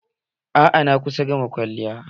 A'a, na kusa gama kwalliyan